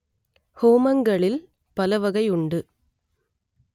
ஹோமங்களில் பல வகை உண்டு